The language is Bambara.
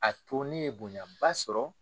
A to ne ye bonyaba sɔrɔ